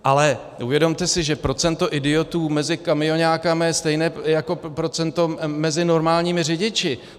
Ale uvědomte si, že procento idiotů mezi kamioňáky je stejné jako procento mezi normálními řidiči.